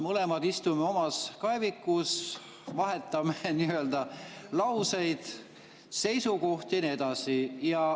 Me mõlemad istume omas kaevikus, vahetame lauseid, seisukohti ja nii edasi.